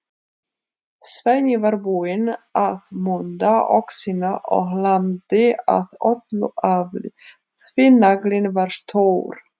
Svenni var búinn að munda öxina og lamdi af öllu afli, því naglinn var stór.